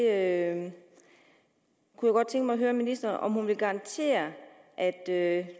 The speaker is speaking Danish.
at høre ministeren om hun vil garantere at